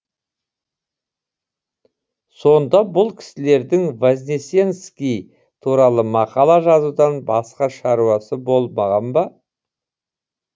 сонда бұл кісілердің вознесенский туралы мақала жазудан басқа шаруасы болмаған ба